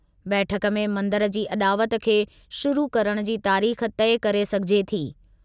बैठकु में मंदिर जी अॾावत खे शुरू करणु जी तारीख़ तइ करे सघिजे थी।